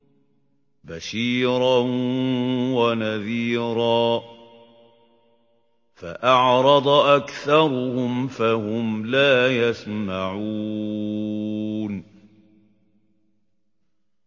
بَشِيرًا وَنَذِيرًا فَأَعْرَضَ أَكْثَرُهُمْ فَهُمْ لَا يَسْمَعُونَ